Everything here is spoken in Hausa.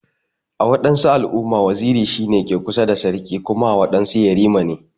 A wadansu al'umma, waziri shi ne ke kusa da sarki Kuma a wadansu yarima ne.